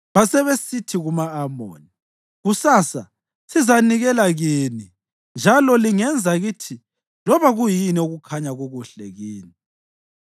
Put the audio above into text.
Basebesithi kuma-Amoni, “Kusasa sizazinikela kini, njalo lingenza kithi loba kuyini okukhanya kukuhle kini.”